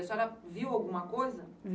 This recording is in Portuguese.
A senhora viu alguma coisa?